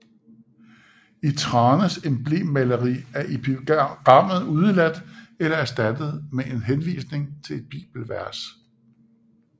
I Thranes emblemmaleri er epigrammet udeladt eller erstattet med en henvisning til et bibelvers